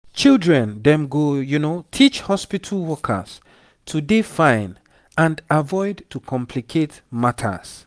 children dem go teach hospitu workers to dey fine and avoid to complicate matters